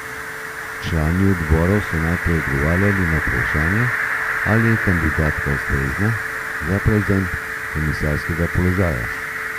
Člani odborov so najprej odgovarjali na vprašanje, ali je kandidatka ustrezna za prevzem komisarskega položaja.